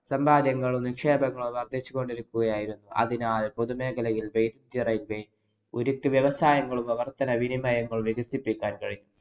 സമ്പാദ്യങ്ങളും, നിക്ഷേപങ്ങളും വര്‍ദ്ധിച്ചു കൊണ്ടിരിക്കുകയായിരുന്നു. അതിനാല്‍ പൊതുമേഖലയില്‍ ഉരുക്കു വ്യവസായങ്ങളും പ്രവര്‍ത്തന വിനിമയങ്ങളും വികസിപ്പിക്കാന്‍ കഴിഞ്ഞു.